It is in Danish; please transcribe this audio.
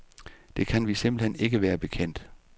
Det kan vi simpelthen ikke være bekendt.